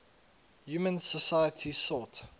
human societies sought